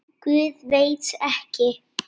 Guð, veit ekki.